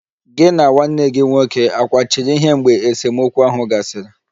Gị na nwanne gị nwoke akwachiri ihe mgbe esemokwu ahụ gasịrị?